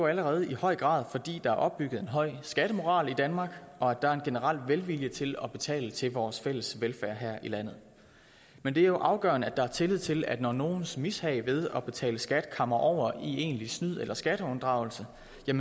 allerede i høj grad fordi der er opbygget en høj skattemoral i danmark og der er en generel velvilje til at betale til vores fælles velfærd her i landet men det er afgørende at der er tillid til at når nogens mishag ved at betale skat kammer over i egentlig snyd eller skatteunddragelse